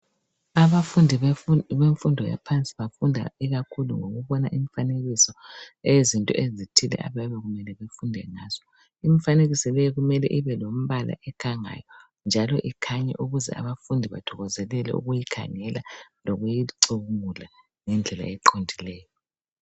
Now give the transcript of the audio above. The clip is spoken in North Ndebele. Abafundi bemfundo yaphansi bafunda ikakhulu ngokubona imifanekiso eyezinto ezithile abayabe kumele befunde ngazo. Imfanekiso le kumele ibelembala ekhangayo njalo ikhanye ukuze abafundi bathokozelele ukuyikhangela lokuyicubungula ngendlela eqondileyo.